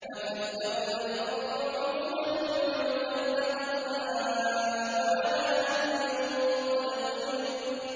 وَفَجَّرْنَا الْأَرْضَ عُيُونًا فَالْتَقَى الْمَاءُ عَلَىٰ أَمْرٍ قَدْ قُدِرَ